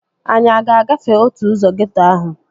Anyị a ga-agafe otu ụzọ geeto ahụ?